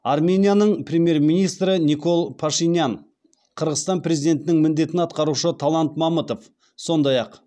арменияның премьер министрі никол пашинян қырғызстан президентінің міндетін атқарушы талант мамытов сондай ақ